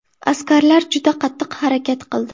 Askarlar juda qattiq harakat qildi.